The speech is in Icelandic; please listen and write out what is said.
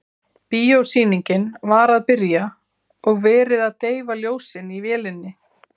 Bíósýningin var að byrja og verið að deyfa ljósin í vélinni.